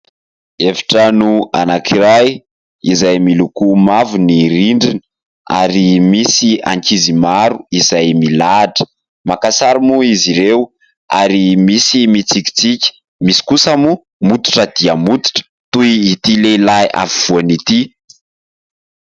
Efitrano anankiray izay miloko mavo ny rindriny ary misy ankizy maro izay milahatra. Maka sary moa izy ireo ary misy mitsikitsika, misy kosa moa mototra dia mototra toy ity lehilahy afovoany ity.